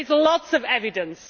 There is lots of evidence.